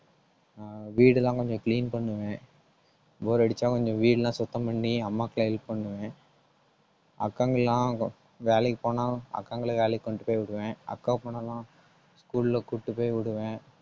ஆஹ் வீடுலாம் கொஞ்சம் clean பண்ணுவேன். bore அடிச்சா கொஞ்சம் வீடெல்லாம் சுத்தம் பண்ணி அம்மாவுக்கு help பண்ணுவேன். அக்காங்க எல்லாம் வேலைக்குப் போனா அக்காங்களை வேலைக்கு கொண்டு போய் விடுவேன். அக்கா school ல கூட்டிட்டு போய் விடுவேன்